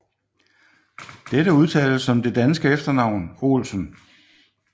Dette udtales som det danske efternavn Olsen